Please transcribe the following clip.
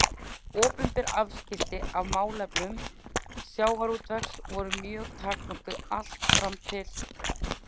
Opinber afskipti af málefnum sjávarútvegs voru mjög takmörkuð allt fram til